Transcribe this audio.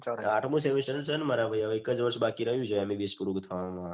આઠમું semester છે મારા ભાઈ એક જ વર્ષ બાકી રહ્યું છે MBBS પૂરું થવા માં